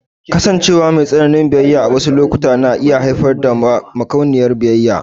Kasancewa mai tsananin biyayya a wasu lokuta na iya haifar da makauniyar biyayya.